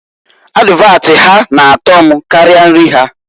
Advat ha na-ato mkarịa nri ha.